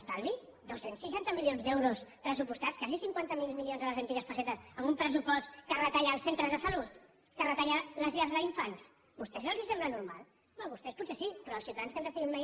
estalvi dos cents i seixanta milions d’euros pressupostats quasi cinquanta miler milions de les antigues pessetes amb un pressupost que retalla els centres de salut que retalla les llars d’infants a vostès els sembla normal home a vostès potser sí però als ciutadans que ens estiguin veient